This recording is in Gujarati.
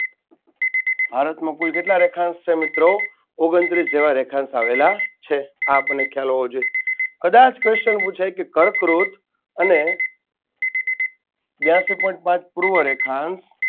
ભારતમાં કુલ કેટલા રેખાંશ છે મિત્રો? ઓગણત્રીસ જેવા રેખાંશ આવેલા છે. આ આપણને ખ્યાલ હોવો જોઈએ કદાચ question પૂછાય કે કર્કવૃત અને બ્યાસી point પૂર્વ રેખાંશ